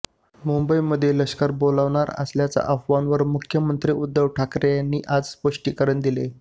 मुंबईमध्ये लष्कर बोलावणार असल्याच्या अफवांवर मुख्यमंत्री उद्धव ठाकरे यांनी आज स्पष्टीकरण दिलं